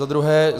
Za druhé.